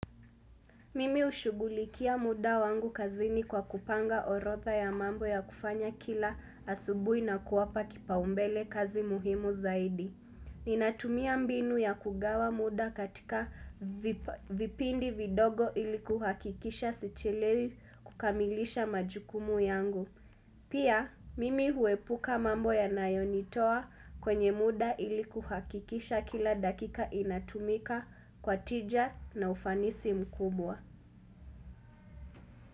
Mimi hushugulikia muda wangu kazini kwa kupanga orodha ya mambo ya kufanya kila asubui na kuwapa kipaumbele kazi muhimu zaidi. Ninatumia mbinu ya kugawa muda katika vip vipindi vidogo iliku hahakikisha sichelewi kukamilisha majukumu yangu. Pia, mimi huepuka mambo yanayo nitoa kwenye muda iliku kuhakikisha kila dakika inatumika kwa tija na ufanisi mkubwa.